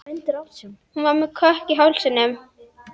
Hún var með kökk í hálsinum.